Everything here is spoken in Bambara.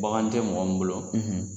Bagan tɛ mɔgɔ mun bolo